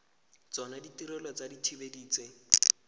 tsona ditirelo tsa dithibedi tse